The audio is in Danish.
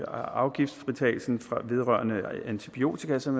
afgiftsfritagelsen vedrørende antibiotika som